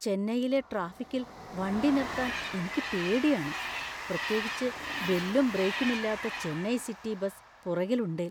ചെന്നൈയിലെ ട്രാഫിക്കിൽ വണ്ടി നിർത്താൻ എനിക്ക് പേടിയാണ്. പ്രത്യേകിച്ച് ബെല്ലും ബ്രേക്കുമില്ലാത്ത ചെന്നൈ സിറ്റി ബസ് പുറകിലുണ്ടേൽ.